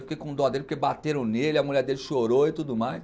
Eu fiquei com dó dele porque bateram nele, a mulher dele chorou e tudo mais.